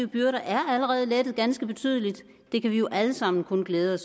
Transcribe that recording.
byrder allerede er lettet ganske betydeligt og det kan vi jo alle sammen kun glæde